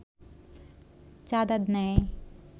চাঁদা নেয়